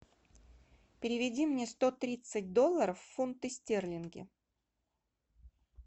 переведи мне сто тридцать долларов в фунты стерлинги